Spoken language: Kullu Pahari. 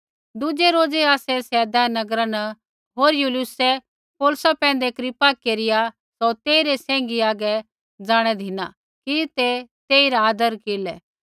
दुज़ै रोज़ै आसै सैदा नगरा न पुज़ै होर यूलियुसै पौलुसा पैंधै कृपा केरिया सौ तेइरै सैंघी हागै ज़ाणै धिना कि ते तेइरा आदर केरलै